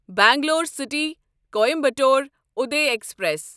Bangalore city Coimbatore Uday express